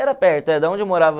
Era perto, era de onde eu morava...